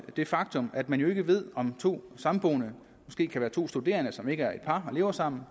det faktum at man jo ikke ved om to samboende måske kan være to studerende som ikke er et par og lever sammen